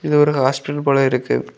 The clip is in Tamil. இது ஒரு ஹாஸ்டல் போலெ இருக்கு.